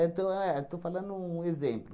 tão é estou falando um exemplo.